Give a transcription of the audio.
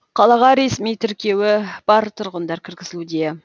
қалаға ресми тіркеуі бар тұрғындар кіргізілуде